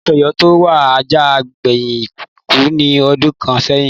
Aláàfin Ọ̀yọ́ tó wà àjà gbẹ̀yìn kú ní ọdún kàn sẹ́yìn